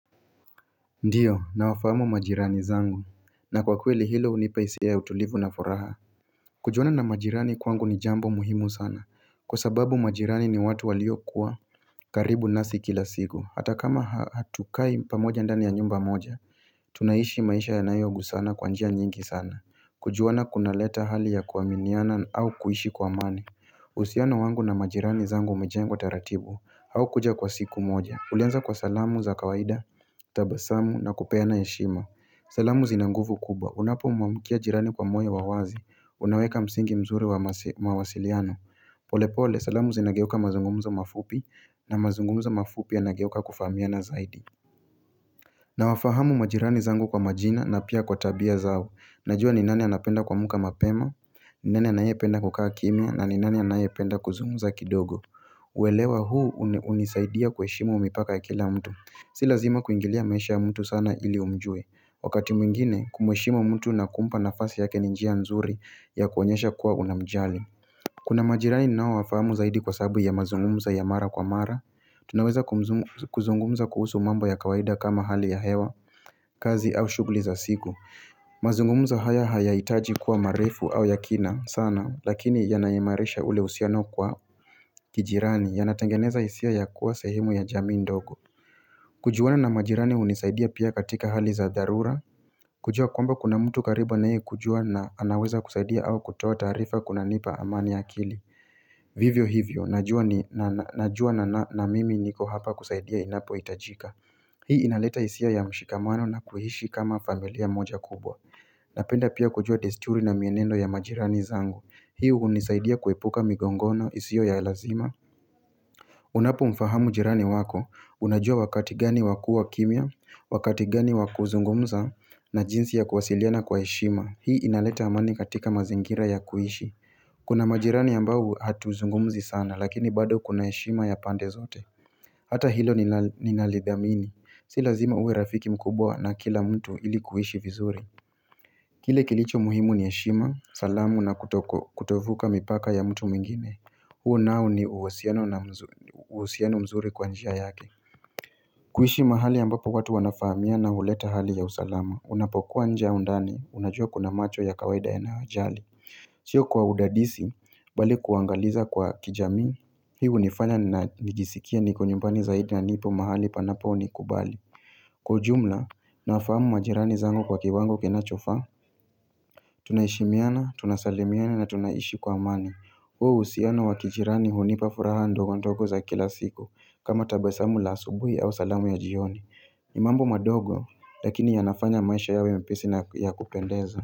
Ndiyo nawafahamu majirani zangu na kwa kweli hilo hunipa hisia ya utulivu na furaha kujuana na majirani kwangu ni jambo muhimu sana Kwa sababu majirani ni watu waliokuwa karibu nasi kila siku hata kama hatukai pamoja ndani ya nyumba moja Tunaishi maisha yanayogusana kwa njia nyingi sana kujuana kunaleta hali ya kuwaminiana au kuishi kuamani uhusiano wangu na majirani zangu umejengu tataratibu haukuja kwa siku moja Ulianza kwa salamu za kawaida, tabasamu na kupeana heshima salamu zina nguvu kubwa Unapomwamkia jirani kwa moyo wa wazi Unaweka msingi mzuri wa mawasiliano polepole, salamu zinageuka mazungumzo mafupi na mazungumzo mafupi yanageuka kufahamiana zaidi na wafahamu majirani zangu kwa majina na pia kwa tabia zao Najua ni nani anapenda kuamuka mapema ni nani anayependa kukaa kimia na ni nani anayependa kuzungumza kidogo kuelewa huu hunisaidia kuheshimu mipaka ya kila mtu Si lazima kuingilia maisha ya mtu sana ili umjue, wakati mwingine kumheshimu mtu na kumpa nafasi yake ni njia nzuri ya kuonyesha kuwa unamjali Kuna majirani ninaowafahamu zaidi kwa sababu ya mazungumzo ya mara kwa mara, tunaweza kuzungumza kuhusu mambo ya kawaida kama hali ya hewa, kazi au shughuli za siku mazungumzo haya haya hitaji kuwa marefu au ya kina sana, lakini yanaiimarisha ule uhusiano kwa kijirani yanatengeneza hisia ya kuwa sehimu ya jamii ndogo kujuana na majirani hunisaidia pia katika hali za darura kujua kwamba kuna mtu karibu anayekujua na anaweza kusaidia au kutoa tarifa kunanipa amani ya akili Vivyo hivyo, najua na mimi niko hapa kusaidia inapohitajika Hii inaleta hisia ya mshikamano na kuiishi kama familia moja kubwa Napenda pia kujua desturi na mienendo ya majirani zangu Hii unisaidia kuepuka migongano isio ya lazima Unapo mfahamu jirani wako, unajua wakati gani wa kuwa kimia, wakati gani wa kuzungumza na jinsi ya kuwasiliana kwa heshima Hii inaleta amani katika mazingira ya kuishi Kuna majirani ambao hatuzungumzi sana lakini bado kuna heshima ya pande zote Hata hilo ninalidhamini, si lazima uwe rafiki mkubwa na kila mtu ili kuishi vizuri Kile kilicho muhimu ni heshima, salamu na kutovuka mipaka ya mtu mingine huu nao ni uhusiano mzuri kwa njia yake kuishi mahali ambapo watu wanafahamiana huleta hali ya usalama Unapokuwa nje au ndani, unajua kuna macho ya kawaida yanayojali Sio kwa udadisi, bali kuangaliza kwa kijamii Hii hunifanya nijisikia niko nyumbani zaidi na nipo mahali panapo nikubali Kwa ujumla, nafahamu majirani zangu kwa kiwango kinachofaa Tunaheshimiana, tunasalimiana na tunaishi kwa amani huu uhisiano wakijirani hunipa furaha ndogo ndogo za kila siku kama tabasamu la asubuhi au salamu ya jioni mambo madogo lakini yanafanya maisha yawe nyepesi na ya kupendeza.